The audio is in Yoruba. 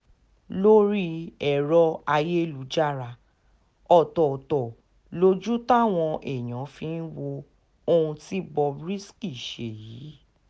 lórí èrò ayélujára ọ̀tọ̀ọ̀tọ̀ lójú táwọn èèyàn fi wo ohun tí bob risky ṣe yìí